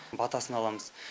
батасын аламыз